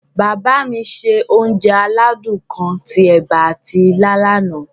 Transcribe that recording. Bàbá mi se onje aládún kan ti ẹ̀ba ati ilá lana.